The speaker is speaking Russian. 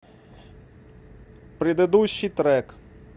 предыдущий трек